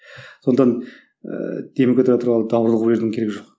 сондықтан ыыы демократия туралы даурыға берудің керегі жоқ